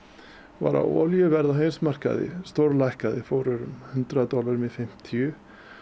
var að olíuverð á heimsmarkaði stórlækkaði fór úr hundrað dollurum í fimmtíu